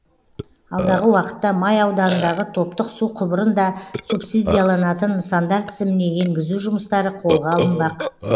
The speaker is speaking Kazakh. алдағы уақытта май ауданындағы топтық су құбырын да субсидияланатын нысандар тізіміне енгізу жұмыстары қолға алынбақ